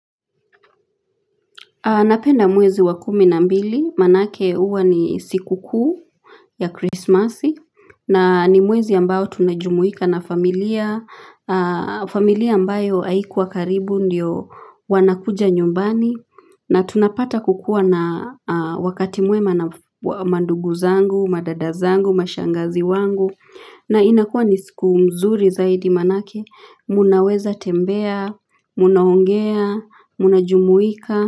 Napenda mwezi wa kumi na mbili, maanake huwa ni siku kuu ya Christmas, na ni mwezi ambao tunajumuika na familia, familia ambayo haikuwa karibu ndiyo wanakuja nyumbani, na tunapata kukua na wakati mwema na mandugu zangu, madada zangu, mashangazi wangu, na inakua ni siku mzuri zaidi maanake, mnaweza tembea, mnaongea, mnajumuika.